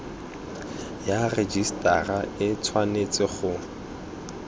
ya rejisetara e tshwanetse go